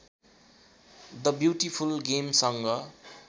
the beautiful गेमसँग